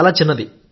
చాలా చిన్నది